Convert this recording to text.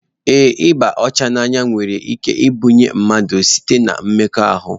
Ee ịba ọcha n'anya nwere ike ịbanye mmadụ ahụ site-na mmekọahụ.